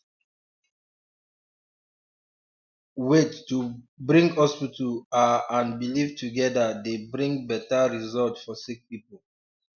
um wait to bring hospital are and belief togeda dey bring beta result for sick poeple